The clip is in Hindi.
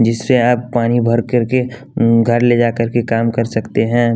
जिससे आप पानी भर कर के घर ले जाकर के काम कर सकते हैं।